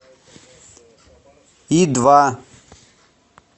и два